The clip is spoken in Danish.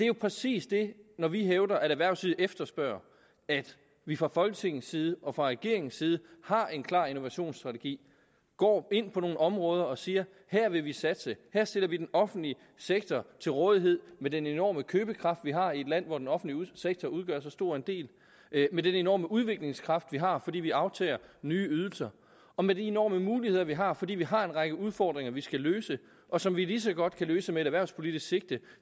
jo præcis det når vi hævder at erhvervslivet efterspørger at vi fra folketingets side og fra regeringens side har en klar innovationsstrategi går ind på nogle områder og siger her vil vi satse her sætter vi den offentlige sektor til rådighed med den enorme købekraft vi har i et land hvor den offentlige sektor udgør så stor en del med den enorme udviklingskraft vi har fordi vi aftager nye ydelser og med de enorme muligheder vi har fordi vi har en række udfordringer vi skal løse og som vi lige så godt kan løse med et erhvervspolitisk sigte